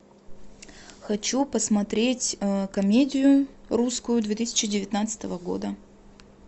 хочу посмотреть комедию русскую две тысячи девятнадцатого года